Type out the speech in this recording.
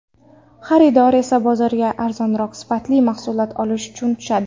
Xaridor esa bozorga arzonroq, sifatli mahsulot olish uchun tushadi.